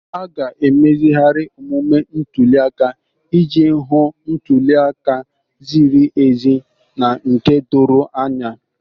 A ga-emezigharị omume ntuli aka iji hụ ntuli aka ziri ezi na nke doro anya.